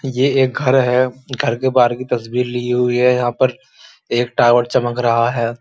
ये एक घर है। घर के बाहर की तस्वीर ली हुई है। यहां पर एक टॉवर चमक रहा है।